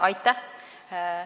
Aitäh!